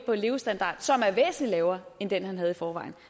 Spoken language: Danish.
levestandard som er væsentlig lavere end den han havde i forvejen